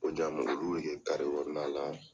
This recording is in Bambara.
olu bɛ kɛ kɔnɔna. la.